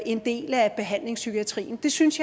en del af behandlingspsykiatrien jeg synes